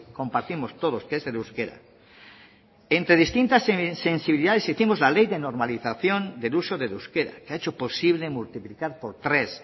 compartimos todos que es el euskera entre distintas sensibilidades hicimos la ley de normalización del uso del euskera que ha hecho posible multiplicar por tres